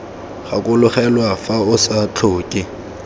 gakologelwa fa o sa tlhoke